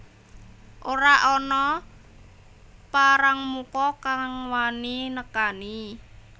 Ora ana parangmuka kang wani nekani